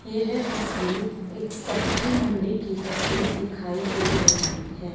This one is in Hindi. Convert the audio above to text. येह तस्वीर एक सब्जी मंडी की तस्वीर दिखाई दे रहीं हैं।